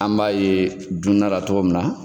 An b'a ye dunnala cogo min na.